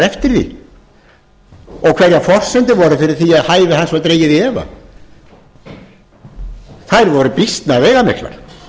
eftir því og hverjar forsendur voru fyrir því að hæfi hans var dregið í efa þær voru býsna veigamiklar